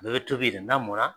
Bɛɛ bɛ tobi yen na mɔnna